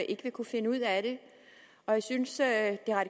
ikke vil kunne finde ud af det og jeg synes at